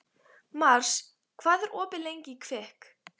Mars, hvað er opið lengi í Kvikk?